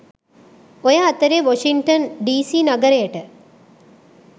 ඔය අතරේ Washington DC නගරයට